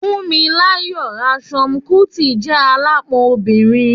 Funmilayo Ransome-Kuti je alapon obinrin